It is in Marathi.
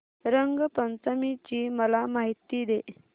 रंग पंचमी ची मला माहिती दे